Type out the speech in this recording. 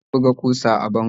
Amir na buga kusa a bango